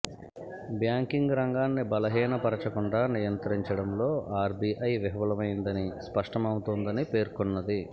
banking రంగాన్ని బలహీనపరచ కుండా నియంత్రించడంలో ఆర్బీఐ విఫలమైందని స్పష్టమౌ తోందని పేర్కొన్నది